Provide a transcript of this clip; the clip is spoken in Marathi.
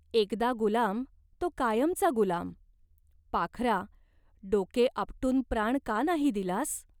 एकदा गुलाम तो कायमचा गुलाम. पाखरा, डोके आपटून प्राण का नाही दिलास ?